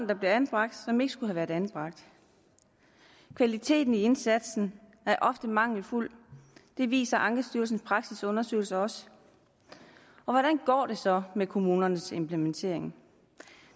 der bliver anbragt som ikke skulle have været anbragt og kvaliteten i indsatsen er ofte mangelfuld det viser ankestyrelsens praksisundersøgelse også hvordan går det så med kommunernes implementering